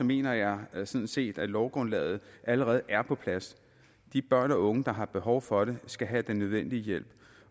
mener jeg sådan set at lovgrundlaget allerede er på plads de børn og unge der har behov for det skal have den nødvendige hjælp